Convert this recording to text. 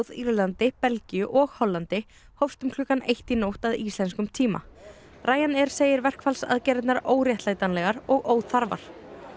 Írlandi Belgíu og Hollandi hófst um klukkan eitt í nótt að íslenskum tíma segir verkfallsaðgerðirnar óréttlætanlegar og óþarfar